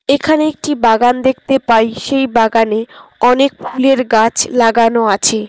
এখানে একটি বাগান দেখতে পাই সেই বাগানে অনেক ফুলের গাছ লাগানো আছে।